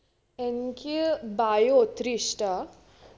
എനിക്ക്‌ bio ഒത്തിരി ഇഷ്ടാ